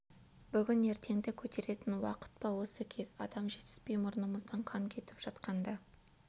бүгін ертеңді көтеретін уақыт па осы кез адам жетіспей мұрнымыздан қан кетіп жатқанда